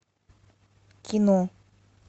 кино